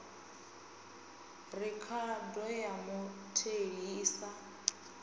rekhodo ya mutheli i sa